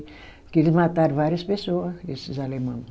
Porque eles mataram várias pessoa, esses alemão.